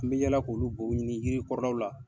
N bi yala k'olu bow ɲini yiri kɔrɔlaw la